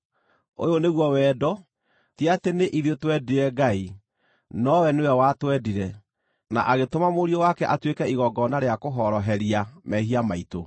Ũyũ nĩguo wendo: ti atĩ nĩ ithuĩ twendire Ngai, nowe nĩwe watwendire, na agĩtũma Mũriũ wake atuĩke igongona rĩa kũhoroheria mehia maitũ.